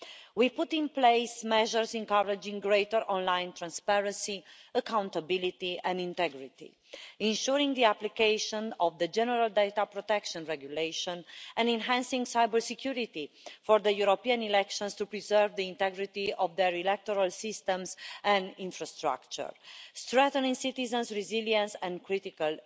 We put in place measures encouraging greater online transparency, accountability and integrity, ensuring the application of the General Data Protection Regulation and enhancing cybersecurity for the European elections to preserve the integrity of their electoral systems and infrastructure, strengthening citizens' resilience and critical